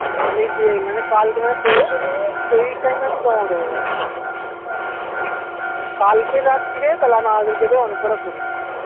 আমি যে মানে কাল যে মানে কি পরশুদিন আমি যেই time এ আমি জমা দেব আরকি কালকে রাত্রিরে কে দিয়ে অনেক কত করিয়ে নিতে পারবো